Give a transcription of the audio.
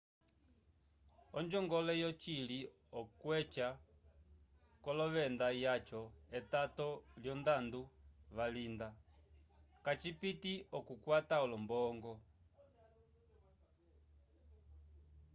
onjongole yocili okweca k'olovenda vyaco etato lyondando valinda kacipiti k'okutata olombongo